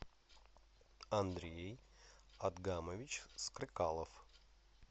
андрей адгамович стрыкалов